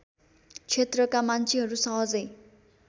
क्षेत्रका मान्छेहरू सहजै